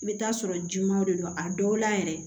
I bɛ t'a sɔrɔ jima de don a dɔw la yɛrɛ